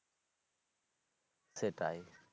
সেটাই।